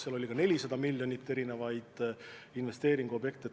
Seal oli ka 400 miljonit, mis puudutasid erinevaid investeeringuobjekte.